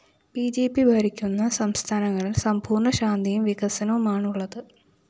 B J P ഭരിക്കുന്ന സംസ്ഥാനങ്ങളില്‍ സമ്പൂര്‍ണ്ണ ശാന്തിയും വികസനവുമാണുള്ളത്